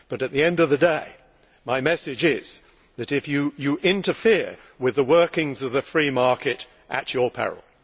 At the end of the day, however, my message is that you interfere with the workings of the free market at your peril.